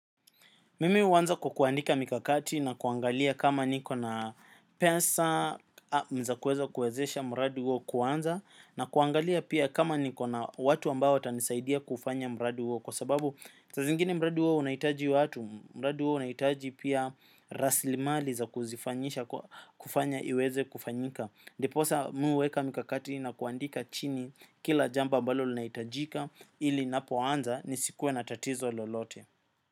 Mimi huanza kwa kuandika mikakati na kuangalia kama niko na pesa naweza kuweza kuwezesha mradi huo kuanza na kuangalia pia kama niko na watu ambao watanisaidia kufanya mradi huo kwa sababu saa zingine mradi huo unahitaji watu, mradi huo unahitaji pia rasilimali za kuzifanyisha kwa kufanya iweze kufanyika ndipo sasa mimi huweka mikakati na kuandika chini kila jambo ambalo linahitajika ili ninapoanza nisikuwe na tatizo lolote.